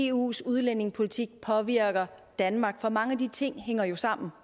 eus udlændingepolitik påvirker danmark for mange af de ting hænger jo sammen